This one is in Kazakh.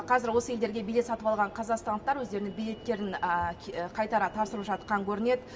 қазір осы елдерге билет сатып алған қазақстандықтар өздерінің билеттерін қайтара тапсырып жатқан көрінеді